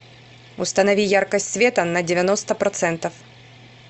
установи яркость света на девяносто процентов